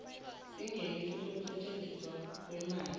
sengeniso nokusetjenziswa kweemali